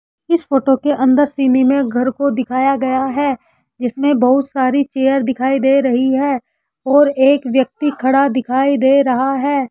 इस फोटो के अंदर सिमी में घर को दिखाया गया है जिसमें बहुत सारी चेयर दिखाई दे रही है और एक व्यक्ति खड़ा दिखाई दे रहा है।